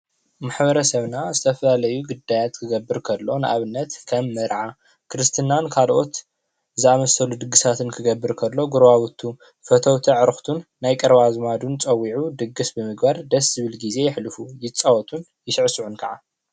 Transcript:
ማሕበረሰብና ዝተፈላለዩ ጉዳያት ክገበር ከሎ ን ኣብነት ከም መርዓ ክርስትናን ካልኦት ዝኣመሰሉ ድግሳትን ክገበር ከሎ ጎረባብቱ ፈተውቲ እዕርክቱን ናይ ቀረባ ኣዝማዱን ፀዊዑ ድግስ ብምግባር ደስ ዝብል ግዜ የሕልፍ ይፃወቱን ይስዕስዑን ክዓ::